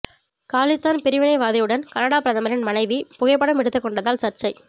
காலிஸ்தான் பிரிவினைவாதியுடன் கனடா பிரதமரின் மனைவி புகைப்படம் எடுத்துக் கொண்டதால் சர்ச்சை